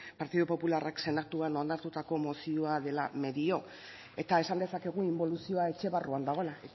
partidu popularrak senatuan onartutako mozioa dela medio eta esan dezakegu inboluzioa etxe barruan dagoela